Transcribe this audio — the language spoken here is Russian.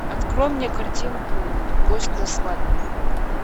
открой мне картинку гость на свадьбе